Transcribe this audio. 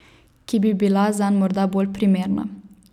Ki bi bila zanj morda bolj primerna.